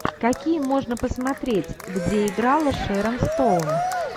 какие можно посмотреть где играла шерон стоун